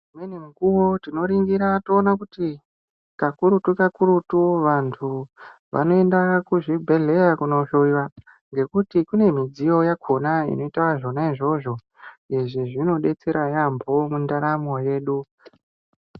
Imweni mukuwo tinoringira toona kuti kakurutu kakurutu vantu vanoenda kuzvibhedhleya kunohlowiwa ngekuti kune midziyo yakhona inoita izvozvo. Izvi zvinodetsera yaamho mundaramo yedu.